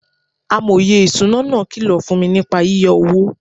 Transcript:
Amòye ìṣúná náà kìlọ̀ fún mi nípa yíyá owó.